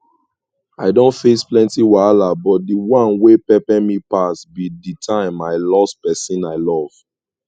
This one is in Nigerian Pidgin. i don face plenty wahala but dey one wey pepe me pass be di time i loss pesin i love